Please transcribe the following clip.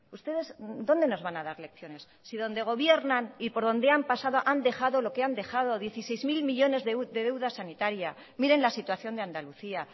ustedes dónde nos van a dar lecciones si donde gobiernan y por donde han pasado han dejado lo que han dejado dieciséis mil millónes de deuda sanitaria miren la situación de andalucía